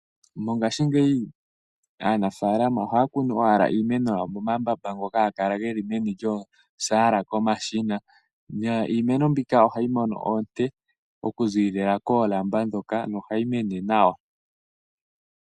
Mongaashingeyi aanafaalama ohaya kunu owala iimeno yawo momambamba ngoka haga kala ge li meni lyoosaala komashina. Niimeno mbyoka ohayi mono oonte okuziilila koolamba ndhoka nohayi mene nawa.